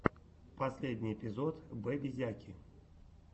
последний эпизод бэбизяки